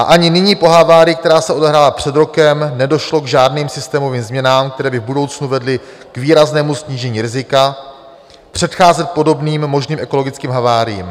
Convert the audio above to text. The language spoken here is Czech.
A ani nyní po havárii, která se odehrála před rokem, nedošlo k žádným systémovým změnám, které by v budoucnu vedly k výraznému snížení rizika, předcházet podobným možným ekologickým haváriím.